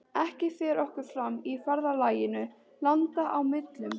Ekki fer okkur fram í ferðalaginu landa á millum.